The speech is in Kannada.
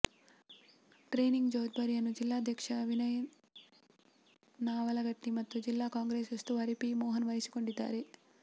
ಟ್ರೇನಿಂಗ್ ಜವಾಬ್ದಾರಿಯನ್ನು ಜಿಲ್ಲಾಧ್ಯಕ್ಷ ವಿನಯ ನಾವಲಗಟ್ಟಿ ಮತ್ತು ಜಿಲ್ಲಾ ಕಾಂಗ್ರೆಸ್ ಉಸ್ತುವಾರಿ ಪಿ ಮೋಹನ್ ವಹಿಸಿಕೊಂಡಿದ್ದಾರೆ